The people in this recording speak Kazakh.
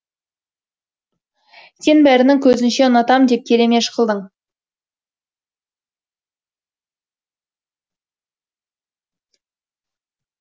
сен бәрінің көзінше ұнатам деп келемеж қылдың